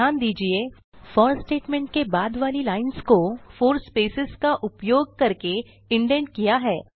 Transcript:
ध्यान दीजिये for statement के बाद वाली लाइन्स को 4 स्पेसेज का उपयोग करके इंडेंट किया है